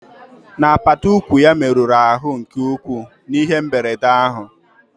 N'apata ụkwụ ya merụrụ ahụ nke ukwuu n'ihe mberede ahụ